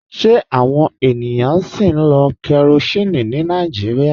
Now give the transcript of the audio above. Ṣe awọn ènìyàn sì ń lo kérosínì ní Nàìjíríà?